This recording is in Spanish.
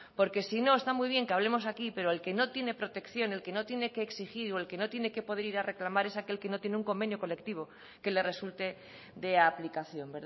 porque si no está muy bien que hablemos aquí pero el que no tiene protección el que no tiene que exigir o el que no tiene que poder ir a reclamar es aquel que no tiene un convenio colectivo que le resulte de aplicación